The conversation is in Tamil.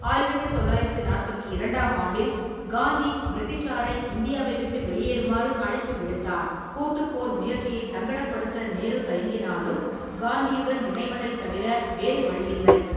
ஆயிரத்து தொள்ளாயிரத்து நாற்பத்தி இரண்டாம் ஆண்டில், காந்தி பிரிட்டிஷாரை இந்தியாவை விட்டு வெளியேறுமாறு அழைப்பு விடுத்தார்; கூட்டுப் போர் முயற்சியை சங்கடப்படுத்த நேரு தயங்கினாலும், காந்தியுடன் இணைவதைத் தவிர வேறு வழியில்லை.